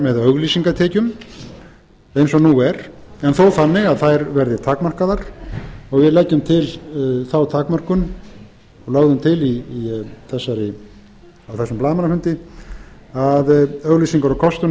með auglýsingatekjum eins og nú er en þó þannig að þær verði takmarkaðar og við leggjum til þá takmörkun lögðum til á þessum blaðamannafunda að auglýsingar og kostun